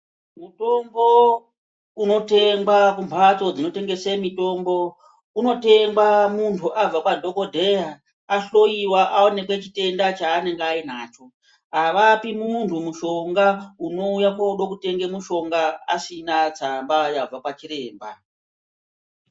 Mutombo unotengwa kumbatso dzinotengeswa mitombo unotengwa muntu abva kwadhokodheya ahloiwa aoneka chitenda chaaienenge ainacho. Avapi muntu mushonga anouya kuda kotenga mishonga asina tsamba yabva kwachiremba .